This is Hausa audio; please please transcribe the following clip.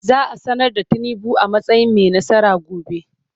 Za a sanar da Tinubu a matsayin mai nasara gobe.